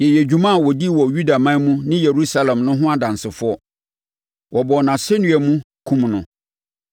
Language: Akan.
“Yɛyɛ dwuma a ɔdii wɔ Yudaman mu ne Yerusalem no ho adansefoɔ. Wɔbɔɔ no asɛnnua mu, kumm no.